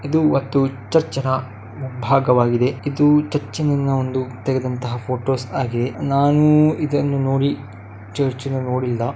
ಇದು ಒಂದು ಚರ್ಚ್‌ನ ಮುಂಭಾಗವಾಗಿದೆ ಇದು ಚುರ್ಚಿನಿಂದ ಒಂದು ತೆಗೆದಂತಹ ಪೋಟೋಸ್ ಆಗಿದೆ ನಾನೂ ಇದನ್ನ ನೋಡಿ ಚರ್ಚ್‌ನ ನೋಡಿಲ್ಲ --